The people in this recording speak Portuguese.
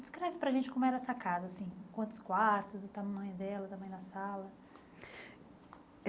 Descreve para a gente como era essa casa, assim, quantos quartos, o tamanho dela, o tamanho da sala.